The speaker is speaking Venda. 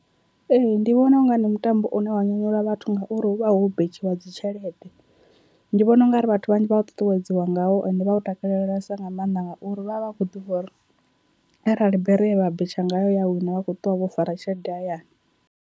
Ee, ndi vhona unga ndi mutambo une wa nyanyula vhathu ngauri huvha ho betshiwa dzi tshelede, ndi vhona ungari vhathu vhanzhi vha ṱuṱuwedziwa ngao ende vha u takalelesa nga maanḓa ngauri vha vha vha kho ḓivha uri arali bere ye vha betsha ngayo ya wina vha kho ṱuwa vho fara tshelede hayani.